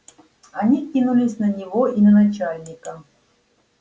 они кинулись на него и на начальника